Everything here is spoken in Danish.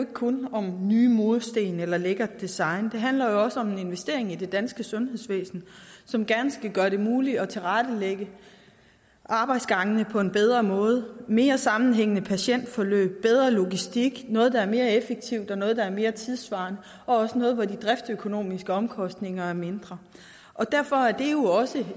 kun om nye mursten eller lækkert design det handler også om en investering i det danske sundhedsvæsen som gerne skal gøre det muligt at tilrettelægge arbejdsgangene på en bedre måde mere sammenhængende patientforløb og bedre logistik noget der er mere effektivt og noget der er mere tidssvarende og også noget hvor de driftsøkonomiske omkostninger er mindre derfor er det jo også